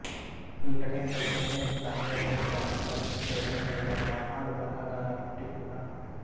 ಈ ಘಟನೆಯ ಬಗ್ಗೆ ನೆನೆಯುತ್ತಾ ಮೇಯರ್ ಹೇಳುತ್ತಾನೆ ಈ ಪರಿಸ್ಥಿತಿಯಲ್ಲೇ ನನ್ನೊಳಗೆ ಒಬ್ಬ ಹಾಡುಬರಹಗಾರ ಹುಟ್ಟಿಕೊಂಡ